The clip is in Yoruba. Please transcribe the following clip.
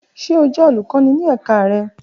Ṣe o jẹ olukọni ni ẹka rẹ?